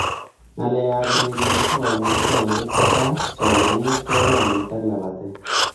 Ngalek ab ureriet ko Kamuktaindet, kaa, somanet, chorwamdit ak lapatet